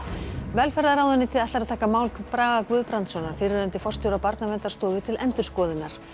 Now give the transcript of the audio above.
velferðarráðuneytið ætlar að taka mál Braga Guðbrandssonar fyrrverandi forstjóra Barnaverndarstofu til endurskoðunar